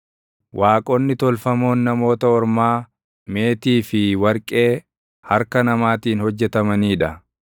Waaqonni tolfamoon namoota ormaa meetii fi warqee harka namaatiin hojjetamanii dha.